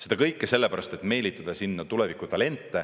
Seda kõike sellepärast, et meelitada sinna tuleviku talente.